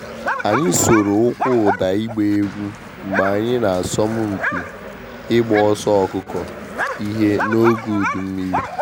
Anyị soro ụkwụ ụda ịgba egwu mgbe anyị na asọmupi ịgba ọsọ ọkụkọ ihe n’oge udu mmiri.